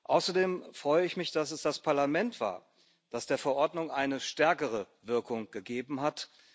Außerdem freue ich mich, dass es das Parlament war, das der Verordnung eine stärkere Wirkung gegeben hat.